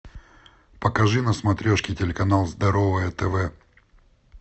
покажи на смотрешке телеканал здоровое тв